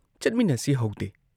ꯆꯠꯃꯤꯟꯅꯁꯤ ꯍꯧꯗꯦ ꯫